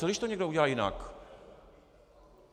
Co když to někdo udělá jinak?